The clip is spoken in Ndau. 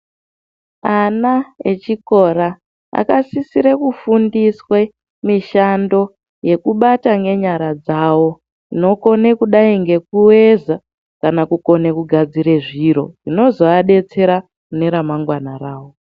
Ana echikora, akasisire kufundiswe mishando yekubata ngenyara dzavo, inokone kudai ngekuveza kana kukone kugadzire zviro, zvinozoadetsera mune ramangwana ravo.